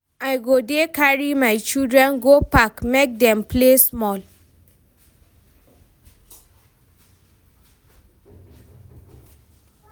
I go dey carry my children go park make dem play small.